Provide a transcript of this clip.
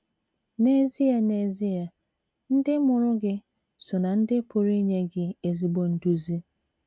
N’ezie N’ezie, ndị mụrụ gị so ná ndị pụrụ inye gị ezigbo nduzi.